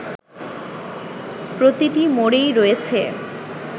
প্রতিটি মোড়েই রয়েছে